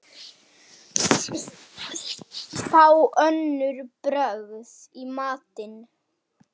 Fá önnur brögð í matinn.